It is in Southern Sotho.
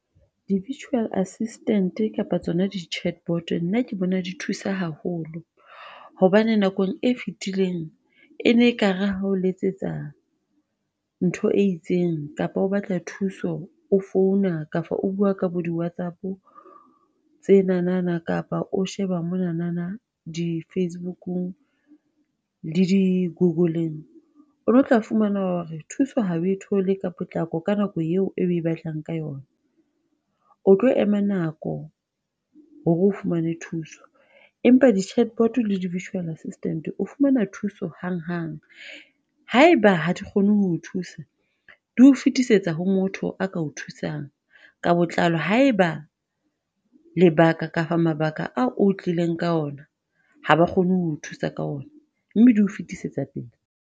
Di-Vurtual Assistant kapa tsona di-chatbot nna ke bona di thusa haholo, hobane nakong e fitileng, ene e kare hao letsetsa ntho e itseng kapa o batla thuso, o founa kapa o bua ka bo di-Whatsapp, tsenana kapa o sheba monana di-Facebook-ng, le di-Google-ng, one o tla fumana hore thuso ha o thole ka potlako ka nako eo e batlang ka yona, o tlo ema nako hore o fumane thuso, empa di-Chatbot le di-Virtual Assistant o fumana thuso hang hang. Haeba ha di kgone ho thusa, di o fetisetsa ho motho a ka o thusang ka botlalo, haeba lebaka kapa mabaka ao o tlileng ka ona haba kgone ho thusa ka ona, mme di o fitisetsa pele.